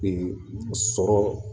Ee sɔrɔ